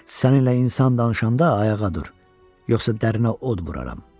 Səninlə insan danışanda ayağa dur, yoxsa dərinə od vuraram.